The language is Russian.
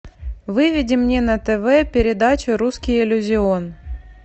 выведи мне на тв передачу русский иллюзион